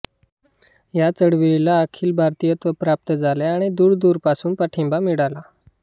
या चळवळीला अखिल भारतीयत्व प्राप्त झाले आणि दूरदूर पासून पाठिंबा मिळाला